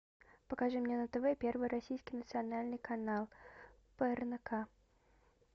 покажи мне на тв первый российский национальный канал прнк